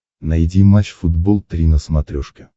найди матч футбол три на смотрешке